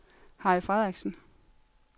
Harry Frederiksen